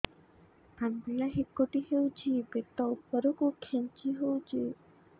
ଅମ୍ବିଳା ହେକୁଟୀ ହେଉଛି ପେଟ ଉପରକୁ ଖେଞ୍ଚି ହଉଚି